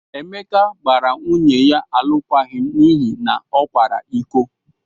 Emeka gbara nwunye ya alụkwaghịm n'ihi na ọ kwara iko.